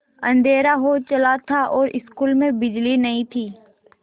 अँधेरा हो चला था और स्कूल में बिजली नहीं थी